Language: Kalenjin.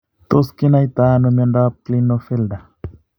Tos kinaitano myondap Klinefelter?